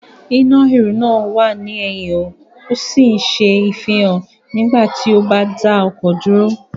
Iná ìrù náà wà ní ẹ̀yìn ó sì ń ṣe ìfihàn nígbà tí o bá dá ọkọ̀ dúró